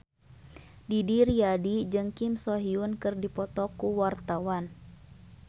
Didi Riyadi jeung Kim So Hyun keur dipoto ku wartawan